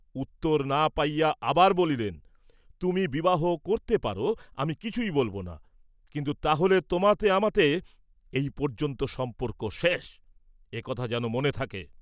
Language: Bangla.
উত্তর না পাইয়া আবার বলিলেন, "তুমি বিবাহ করতে পার, আমি কিছুই বলব না, কিন্তু তা হলে তোমাতে আমাতে এই পর্যন্ত সম্পর্ক শেষ, এ কথা যেন মনে থাকে।"